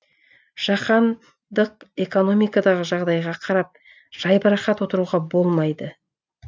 жаһандық экономикадағы жағдайға қарап жайбарақат отыруға болмайды